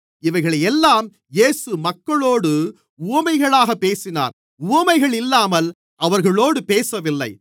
இவைகளையெல்லாம் இயேசு மக்களோடு உவமைகளாகப் பேசினார் உவமைகளில்லாமல் அவர்களோடு பேசவில்லை